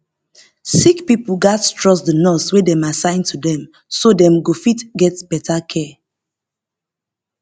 sick pipo gats trust the nurse wey dem assign to dem so dem go fit get better care